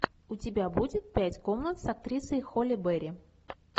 у тебя будет пять комнат с актрисой холли берри